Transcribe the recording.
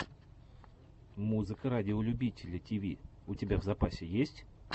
музыка радиолюбителя тиви у тебя в запасе есть